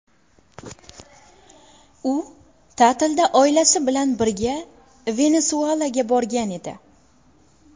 U ta’tilda oilasi bilan birga Venesuelaga borgan edi.